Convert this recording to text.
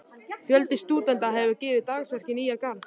Fjöldi stúdenta hefur gefið dagsverk í Nýja-Garð.